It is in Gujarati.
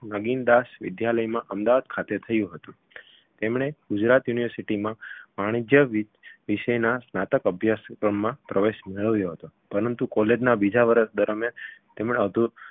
નગીનદાસ વિદ્યાલયમાં અમદાવાદ ખાતે થયું હતું તેમણે ગુજરાત university માં વાણિજ્ય વિ વિષયના સ્નાતક અભ્યાસક્રમમાં પ્રવેશ મેળવ્યો હતો પરંતુ college ના બીજા વર્ષ દરમિયાન તેમણે અધૂરો